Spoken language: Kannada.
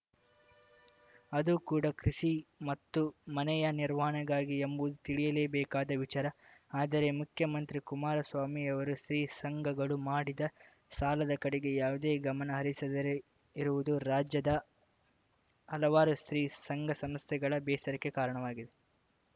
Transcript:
ಅದೂ ಕೂಡ ಕೃಷಿ ಮತ್ತು ಮನೆಯ ನಿರ್ವಹಣೆಗಾಗಿ ಎಂಬು ತಿಳಿಯಲೇಬೇಕಾದ ವಿಚಾರ ಆದರೆ ಮುಖ್ಯಮಂತ್ರಿ ಕುಮಾರ ಸ್ವಾಮಿಯವರು ಸ್ತ್ರೀಸಂಘಗಳು ಮಾಡಿದ ಸಾಲದ ಕಡೆಗೆ ಯಾವುದೇ ಗಮನ ಹರಿಸದರೆ ಇರುವುದು ರಾಜ್ಯದ ಹಲವಾರು ಸ್ತ್ರೀ ಸಂಘಸಂಸ್ಥೆಗಳ ಬೇಸರಕ್ಕೆ ಕಾರಣವಾಗಿದೆ